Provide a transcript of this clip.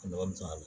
A nafa bɛ sɔrɔ a la